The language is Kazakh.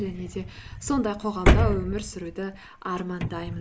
және де сондай қоғамда өмір сүруді армандаймын